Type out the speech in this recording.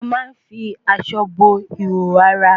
A ma ń fi aṣọ bo ìhòòhò ara